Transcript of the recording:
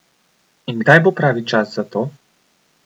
In kdaj bo pravi čas za to?